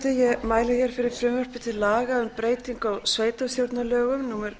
xxxforseti ég mæli hér fyrir frumvarpi til laga um breytingu á sveitarstjórnarlögum númer